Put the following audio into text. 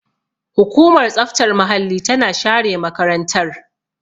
Hukumar tsaftar muhalli tana share makarantar.